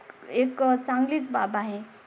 एक चांगलीच बाब आहे.